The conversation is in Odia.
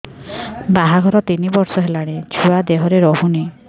ବାହାଘର ତିନି ବର୍ଷ ହେଲାଣି ଛୁଆ ଦେହରେ ରହୁନି